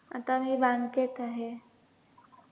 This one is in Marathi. आता मी bank त आहे.